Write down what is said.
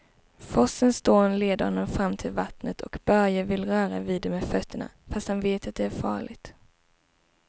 Forsens dån leder honom fram till vattnet och Börje vill röra vid det med fötterna, fast han vet att det är farligt.